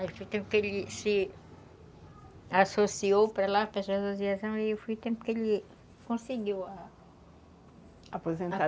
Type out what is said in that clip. Aí foi o tempo que ele se associou para lá, para associação, e foi o tempo que ele conseguiu a... Aposenta